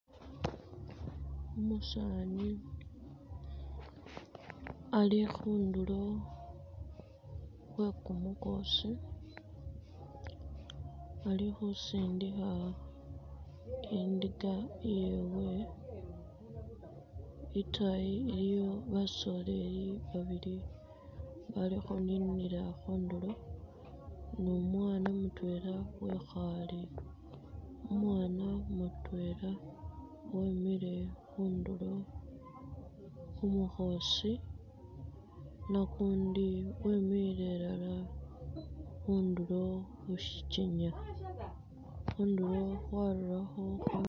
Umusani ali khundulo khwe kumukhosi ali khusindikha indika iyewe, itaayi nayo iliyo bashewe babili abali khuninila khundulo ne umwana mutwela wekhaale , umwana mutwela wemile khundulo khumukhosi ne ukundi wemile ilala khundulo khushikenya, khundulo khwarurakho..